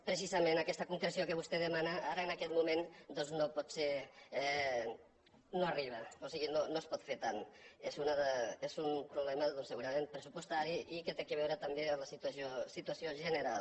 precisament aquesta concreció que vostè demana ara en aquest moment no pot ser no arriba o sigui no es pot fer tant és un problema se·gurament pressupostari i que té a veure també amb la situació general